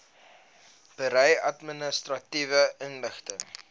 berei administratiewe inligting